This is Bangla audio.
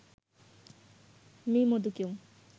মি মোদীকেও